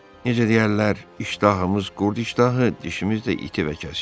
Necə deyərlər, iştahımız qurd iştahı, dişimiz də iti və kəskin.